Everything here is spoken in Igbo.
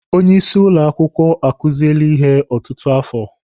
Onye isi ụlọ akwụkwọ akuziele ihe ọtụtụ afọ.